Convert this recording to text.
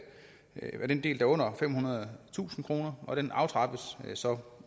af den del der er under femhundredetusind kr og det aftrappes så